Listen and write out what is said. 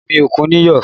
Omi òkun níyọ̀